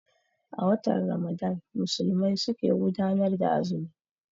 A watan Ramadan Musulmai su ke gudanar da azumi